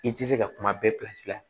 I tɛ se ka kuma bɛɛ la